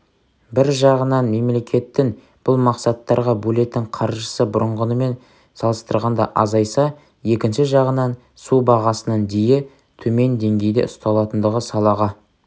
бір жағынан мемлекеттің бұл мақсаттарға бөлетін қаржысы бұрынғымен салыстырғанда азайса екінші жағынан су бағасының дейі төмен деңгейде ұсталатындығы салаға